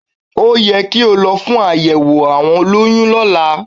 Ó ye kí o lo fún àyẹ̀wò àwọn olóyún lóla